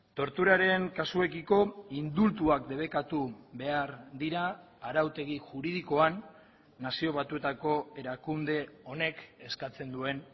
torturaren kasuekiko indultuak debekatu behar dira arautegi juridikoan nazio batuetako erakunde honek eskatzen duen